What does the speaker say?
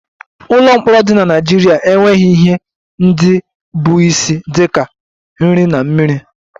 Ụlọ mkpọrọ dị na Naịjirịa enweghị ihe ndị bụ isi dị ka nri na mmiri